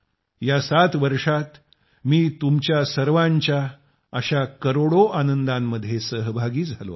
या 7 वर्षात मी तुमच्या सर्वांच्या अशा करोडो आनंदांमध्ये सहभागी झालो आहे